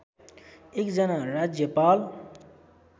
एक जना राज्यपाल